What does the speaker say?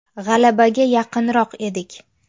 G‘alabaga yaqinroq edik.